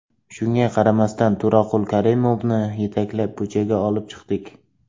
Shunga qaramasdan, To‘raqul Karimovni yetaklab, ko‘chaga olib chiqdik.